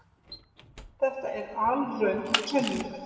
Þetta er alröng kenning.